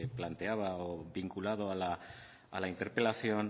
planteaba o vinculado a la interpelación